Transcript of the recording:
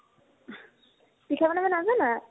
পিঠা বনাব নাজানা ?